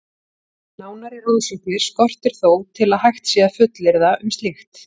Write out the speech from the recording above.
Nánari rannsóknir skortir þó til að hægt sé að fullyrða um slíkt.